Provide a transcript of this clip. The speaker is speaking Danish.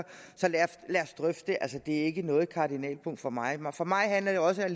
lad os drøfte det altså det er ikke noget kardinalpunkt for mig mig for mig handler det også